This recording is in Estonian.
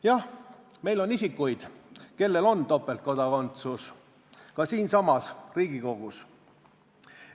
Jah, meil on isikuid, kellel on topeltkodakondsus, ka siinsamas Riigikogus.